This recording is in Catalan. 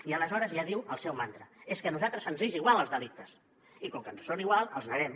i aleshores ja diu el seu mantra és que a nosaltres ens és igual els delictes i com que ens són igual els neguem